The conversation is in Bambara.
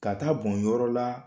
Ka taa a bɔn yɔrɔ la